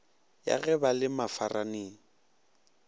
ya ge ba le mafarane